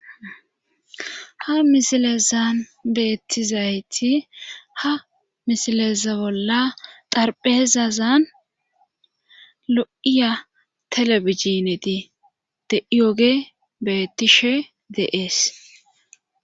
Ha misilezan beettizayti ha misileza bolla xarpheezazan lo'iya telebijineti deiyoge beettishe deees.